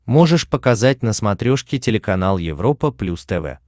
можешь показать на смотрешке телеканал европа плюс тв